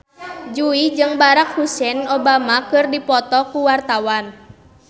Jui jeung Barack Hussein Obama keur dipoto ku wartawan